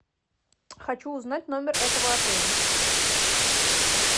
хочу узнать номер этого отеля